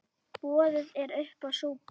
Boðið er uppá súpu.